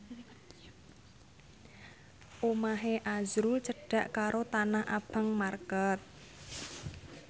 omahe azrul cedhak karo Tanah Abang market